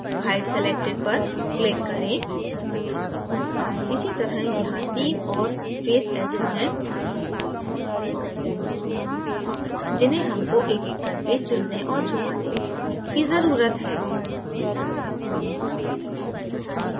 hide selected पर click करें इसी तरह यहाँ 3 ओऱ face edges हैं जिन्हें हमको एक एक करके चुनने और छुपाने करने की जरूरत है